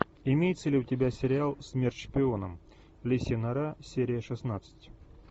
имеется ли у тебя сериал смерть шпионам лисья нора серия шестнадцать